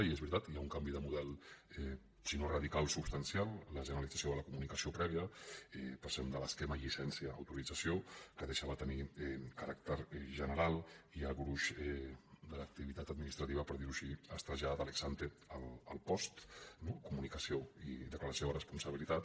i és veritat hi ha un canvi de model sinó radical substancial la generalització de la comunicació prèvia passem de l’esquema llicència autorització que deixa de tenir caràcter general i el gruix de l’activitat administrativa per dir ho així es trasllada de l’ex ante al post no comunicació i declaració de responsabilitat